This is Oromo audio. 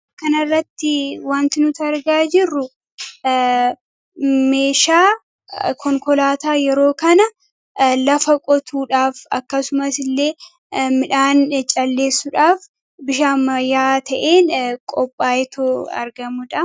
Kanaarratti wanti nuti argaa jirru meeshaa konkolaataa yeroo kana lafa qotuudhaaf akkasumas illee midhaan calleessuudhaaf bifa ammayyaa ta'een qophaayee argamudha.